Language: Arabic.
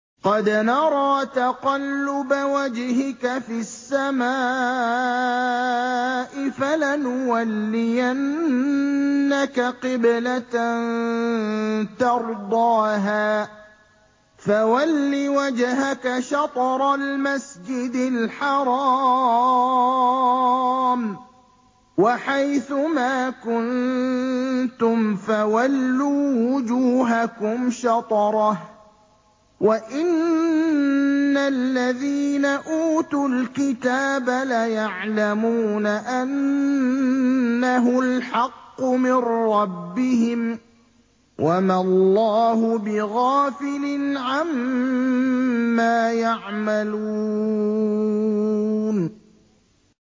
قَدْ نَرَىٰ تَقَلُّبَ وَجْهِكَ فِي السَّمَاءِ ۖ فَلَنُوَلِّيَنَّكَ قِبْلَةً تَرْضَاهَا ۚ فَوَلِّ وَجْهَكَ شَطْرَ الْمَسْجِدِ الْحَرَامِ ۚ وَحَيْثُ مَا كُنتُمْ فَوَلُّوا وُجُوهَكُمْ شَطْرَهُ ۗ وَإِنَّ الَّذِينَ أُوتُوا الْكِتَابَ لَيَعْلَمُونَ أَنَّهُ الْحَقُّ مِن رَّبِّهِمْ ۗ وَمَا اللَّهُ بِغَافِلٍ عَمَّا يَعْمَلُونَ